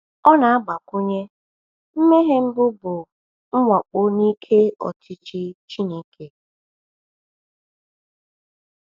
Ọ na-agbakwunye: “Mmehie mbụ bụ mwakpo n’ike ọchịchị Chineke.”